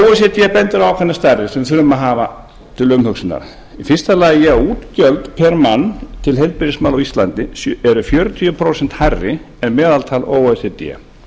d bendir á ákveðnar stærðir sem við þurfum að hafa til umhugsunar fyrstu að útgjöld pr mann til heilbrigðismála á íslandi eru fjörutíu prósent hærri en meðaltal o e c d